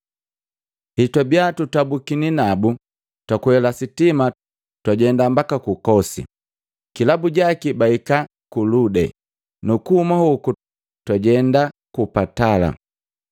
Hetwabia tutabukini nabu, twakwela sitima twajenda mbaka ku Kosi. Kilabu jaki bahika ku Lode, nukuhuma hoku twajenda ku Patala.